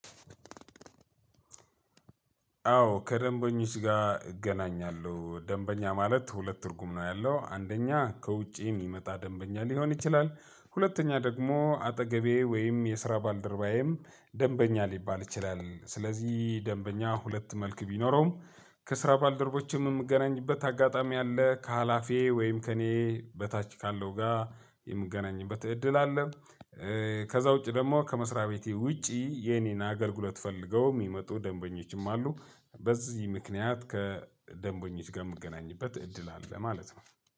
አዎ ከደንበኞች ጋር እገናኛለሁ ደንበኛ ማለት ሁለት ትርጉም ነው ያለው አንደኛ ከውጪ የሚመጣ ደንበኛ ሊሆን ይችላል። ሁለተኛ ደግሞ አጠገቤ ወይም የስራ ባልደርባዬም ደንበኛ ሊባል ይችላል ስለዚህ ደንበኛ ሁለት መልክ ቢኖረውም። ከ ስራ ባልደረቦቼም ምገናኝበት አጋጣሚ አለከ ኃላፊዬ ወይም ከ እኔ በታች ካለው ጋ የ ምገናኝበት እድል አለ። ከዛ ውጪ ደግሞ ከ መስሪያ ቤቴ ውጪ የኔን አገልግሎት ፈልገው ሚመጡ ደንበኞችም አሉ። በዚህ ምክንያት ከደንበኞች ጋር የምገናኝበት እድል አለ ማለት ነው።